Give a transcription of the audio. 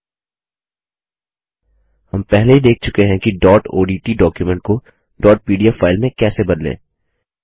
हम पहले ही देख चुके हैं कि डॉट ओडीटी डॉक्युमेंट को डॉट पीडीएफ फाइल में कैसे बदलें